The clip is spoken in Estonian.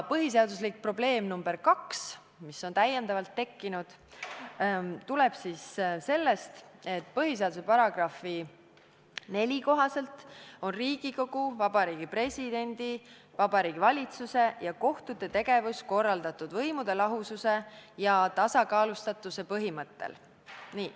Põhiseadust puudutav probleem nr 2, mis on täiendavalt tekkinud, tuleb sellest, et põhiseaduse § 4 kohaselt on Riigikogu, Vabariigi Presidendi, Vabariigi Valitsuse ja kohtute tegevus korraldatud võimude lahususe ja tasakaalustatuse põhimõttel.